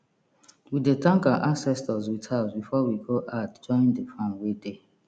we dey thank our ancestors with herbs before we go add join the farm wey dey